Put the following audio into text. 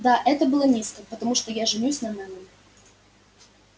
да это было низко потому что я женюсь на мелани